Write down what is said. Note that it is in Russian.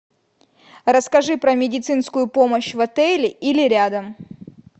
расскажи про медицинскую помощь в отеле или рядом